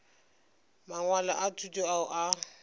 mangwalo a thuto ao a